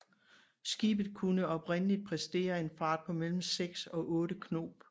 Skibet kunne oprindeligt præstere en fart på mellem 6 og 8 knob